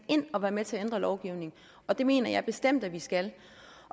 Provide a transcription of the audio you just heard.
ind og være med til at ændre lovgivningen og det mener jeg bestemt at vi skal